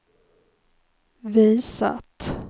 visat